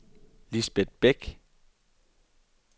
Lisbet Bæk